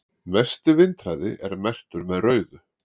mesti vindhraði er merktur með rauðu